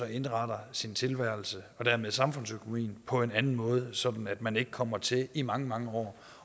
indretter sin tilværelse og dermed samfundsøkonomien på en anden måde sådan at man ikke kommer til i mange mange år